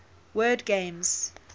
word games